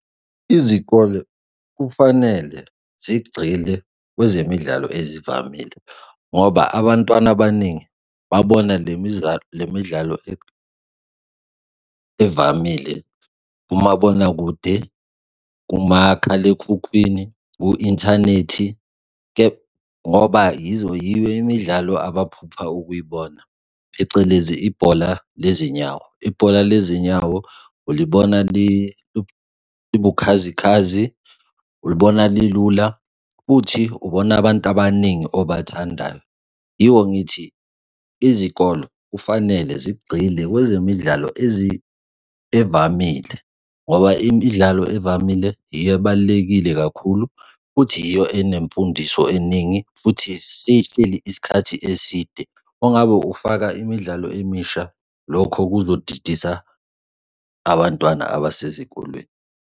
Izikole kufanele zigxile kwezemidlalo ezivamile, ngoba abantwana abaningi babona le midlalo le midlalo evamile kumabonakude, kumakhalekhukhwini, ku-inthanethi, kepha ngoba yizo yiyo imidlalo abaphupha ukuyibona, phecelezi ibhola lezinyawo, ibhola lezinyawo ulibona liwubukhazikhazi, ulibona lilula futhi ubona abantu abaningi obathandayo, yiko ngithi izikolo kufanele zigxile kwezemidlalo evamile ngoba imidlalo evamile yiyo ebalulekile kakhulu futhi yiyo enemfundiso eningi futhi sehleli isikhathi eside. Uma ngabe ufaka imidlalo emisha, lokho kuzodidisa abantwana abasezikolweni.